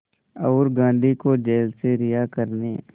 और गांधी को जेल से रिहा करने